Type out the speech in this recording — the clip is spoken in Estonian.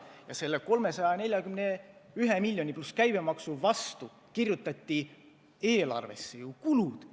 Ja lähtudes sellest 341 miljonist, pluss käibemaks, kirjutati eelarvesse ju kulud.